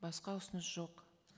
басқа ұсыныс жоқ